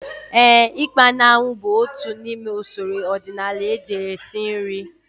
Éè, ikpa na anwụ bụ otu n'ime usoro ọdịnala eji esi nri